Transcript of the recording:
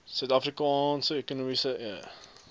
suid afrikaanse menseregtekommissie